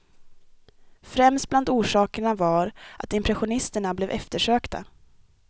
Främst bland orsakerna var att impressionisterna blev eftersökta.